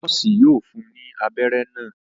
Noosi yóò fún ní abéré ibà.